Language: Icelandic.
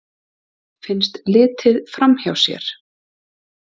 Finnst litið framhjá sér